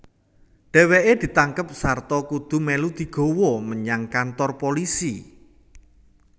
Dheweke ditangkep sarta kudu melu digawa menyang kantor pulisi